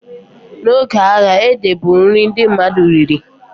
Na oge agha, ede bụ nri ndị mmadụ riri